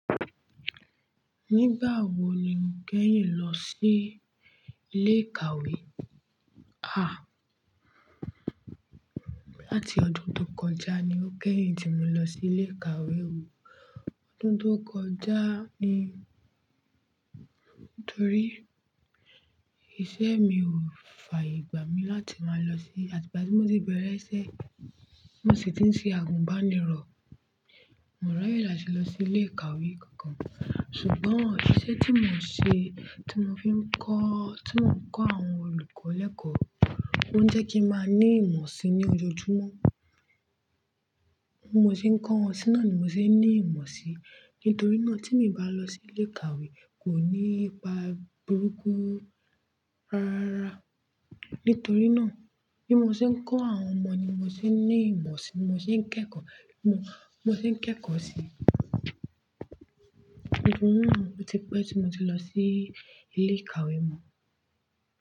Nígbàwo ni mo kéyìn lọ sí Ilé ìkàwé, à, láti ọdún tó kọjá ni o kẹ́yìn tí mo lọ sí Ilé ìkàwébò ọdún tó kọjá ni nítorí iṣẹ́ mi ò fààyè gbà mí láti máa lọ sí, àti ìgbà tí mo ti bẹ̀rẹ̀ iṣẹ́, mo sì ti ń ṣe àgùnbánirọ̀. Mò raye láti lọ sí Ilé ìkàwé kankan ṣùgbọ́n iṣẹ́ tí mo ń ṣe, tí mo fi ń kọ́, tí mo ń kọ́ àwọn olùkọ́ lẹ́kọ̀ọ́, ó ń jẹ́ kí n máa ní ìmọ̀ si ní ojoojúmọ́. Mo ti ń kọ́ wọn sí náà ni mo ti ń ní ìmọ̀ si, nítorí náà tí mo bá lọ sí Ilé ìkàwé kò ní ipa burúkú rárá. Nítorí náà bí mo ṣe ń kọ́ àwọn ọmọ ni mo ti ń ní ìmọ̀ si, mo sì ń kẹ́kọ̀ọ́, mo sì ń kẹ́kọ̀ọ́ si i. Nítorí náà ó ti pẹ́ tí mo ti lọ sí Ilé ìkàwé mọ.